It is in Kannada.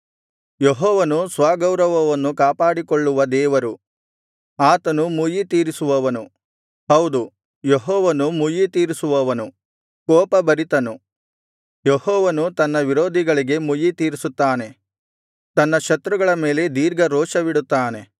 ಯೆಹೋವನು ಸ್ವಗೌರವವನ್ನು ಕಾಪಾಡಿಕೊಳ್ಳುವ ದೇವರು ಆತನು ಮುಯ್ಯಿತೀರಿಸುವವನು ಹೌದು ಯೆಹೋವನು ಮುಯ್ಯಿತೀರಿಸುವವನು ಕೋಪಭರಿತನು ಯೆಹೋವನು ತನ್ನ ವಿರೋಧಿಗಳಿಗೆ ಮುಯ್ಯಿತೀರಿಸುತ್ತಾನೆ ತನ್ನ ಶತ್ರುಗಳ ಮೇಲೆ ದೀರ್ಘರೋಷವಿಡುತ್ತಾನೆ